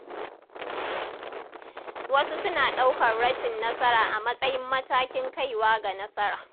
Wasu suna ɗaukar rashin nasara a matsayin matakin kaiwa ga nasara.